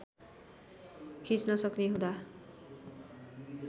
खिच्न सक्ने हुँदा